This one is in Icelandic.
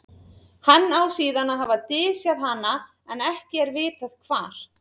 hann á síðan að hafa dysjað hana en ekki er vitað hvar